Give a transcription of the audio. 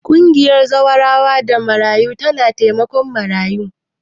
Ƙungiyar Zawarawa da Marayu tana taimakon marayu.